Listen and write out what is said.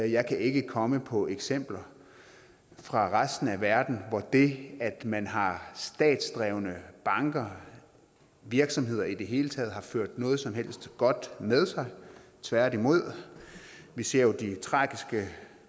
jeg kan ikke komme på eksempler fra resten af verden hvor det at man har statsdrevne banker og virksomheder i det hele taget har ført noget som helst godt med sig tværtimod vi ser jo de tragiske